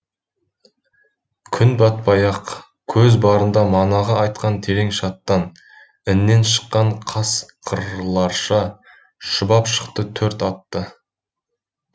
күн батпай ақ көз барында манағы айтқан терең шаттан іннен шыққан қасқырларша шұбап шықты төрт атты